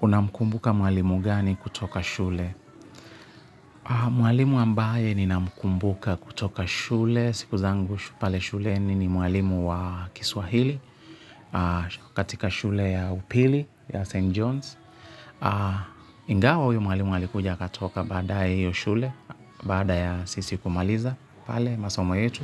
Unamkumbuka mwalimu mgani kutoka shule? Mwalimu ambaye ninamkumbuka kutoka shule. Siku zangu pale shuleni ni mwalimu wa kiswahili katika shule ya upili ya St. Johns. Ingawa huyu mwalimu alikuja akatoka baadaye hiyo shule, baada ya sisi kumaliza pale masomo yetu.